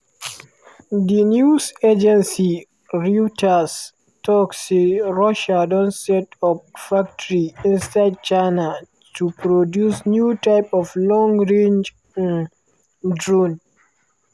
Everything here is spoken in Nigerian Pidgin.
di news agency reuters tok say russia don set up factory inside china to produce new type of long-range um drone